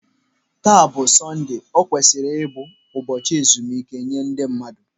Taa bụ Sọnde, o kwesịrị ịbụ ụbọchị ezumike nye ndị mmadụ.